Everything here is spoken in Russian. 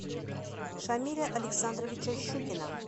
шамиля александровича щукина